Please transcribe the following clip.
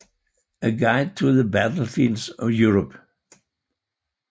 A Guide to the Battlefields of Europe